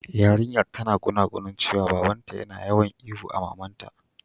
Yarinyan tana gunaguni cewa baba'n ta yana yawan ihu a mamanta.